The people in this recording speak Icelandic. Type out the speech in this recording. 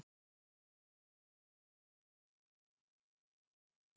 Í dag hefur síðan verið uppfærð og þar er saga heimasíðunnar rakin.